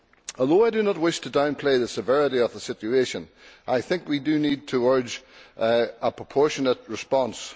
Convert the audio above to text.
Although I do not wish to downplay the severity of the situation, I think we do need to urge a proportionate response.